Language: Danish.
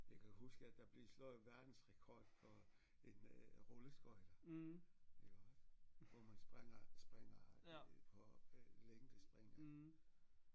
Jeg kan huske at der blev slået verdensrekord for en rulleskøjter iggås hvor man springer springer på øh længdespring